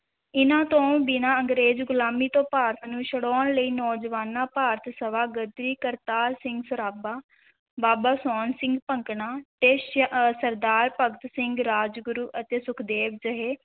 ਇਨਾਂ ਤੋਂ ਬਿਨਾਂ ਅੰਗਰੇਜ਼ ਗੁਲਾਮੀ ਤੋਂ ਭਾਰਤ ਨੂੰ ਛੁਡਾਉਣ ਲਈ ਨੌਜਵਾਨਾਂ ਭਾਰਤ ਸਭਾ, ਗ਼ਦਰੀ ਕਰਤਾਰ ਸਿੰਘ ਸਰਾਭਾ ਬਾਬਾ ਸੋਹਨ ਸਿੰਘ ਭਕਨਾ ਤੇ ਸ~ ਸਰਦਾਰ ਭਗਤ ਸਿੰਘ, ਰਾਜਗੁਰੂ ਅਤੇ ਸੁਖਦੇਵ ਜਿਹੇ